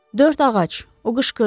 Dörd ağac, o qışqırdı.